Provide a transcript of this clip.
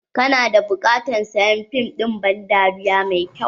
kana da buƙatar sayan fim din ban dariya mai kyau?.